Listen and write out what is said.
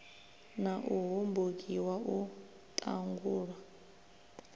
na u hombokiwa u ṱangulwa